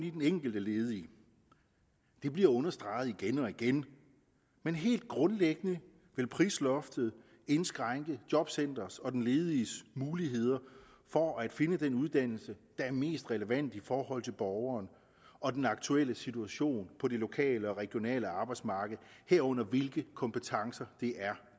i den enkelte ledige det bliver understreget igen og igen men helt grundlæggende vil prisloftet indskrænke jobcenterets og den lediges muligheder for at finde den uddannelse der er mest relevant i forhold til borgeren og den aktuelle situation på det lokale og regionale arbejdsmarked herunder hvilke kompetencer det er